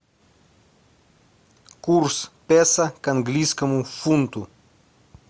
курс песо к английскому фунту